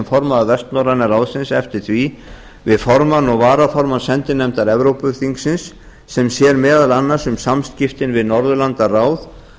formaður vestnorræna ráðsins eftir því við formann og varaformann sendinefndar evrópuþingsins sem sér meðal annars um samskiptin við norðurlandaráð